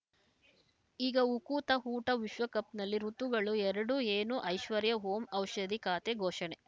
ಈಗ ಉಕುತ ಊಟ ವಿಶ್ವಕಪ್‌ನಲ್ಲಿ ಋತುಗಳು ಎರಡು ಏನು ಐಶ್ವರ್ಯಾ ಓಂ ಔಷಧಿ ಖಾತೆ ಘೋಷಣೆ